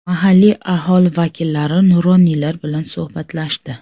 Mahalliy aholi vakillari, nuroniylar bilan suhbatlashdi.